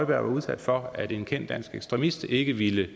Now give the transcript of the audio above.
var udsat for at en kendt dansk ekstremist ikke ville